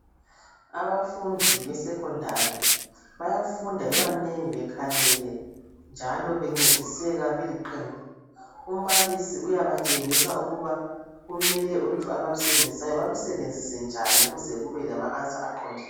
Abafundi besekhondari, bayafunda bebanengi bekhangele njalo bencediseka beliqembu. Umbalisi uyabatshengisa ukuba kumele ulutho abalusebenzisayo balusebenzise njani ukuze kube lama ansa aqond ...